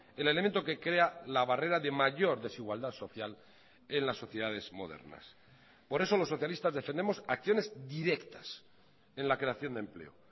el elemento que crea la barrera de mayor desigualdad social en las sociedades modernas por eso los socialistas defendemos acciones directas en la creación de empleo